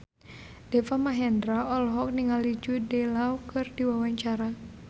Deva Mahendra olohok ningali Jude Law keur diwawancara